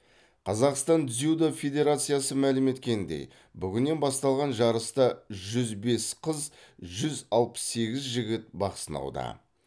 қазақстан дзюдо федерациясы мәлім еткеніндей бүгіннен басталған жарыста жүз бес қыз жүз алпыс сегіз жігіт бақ сынауда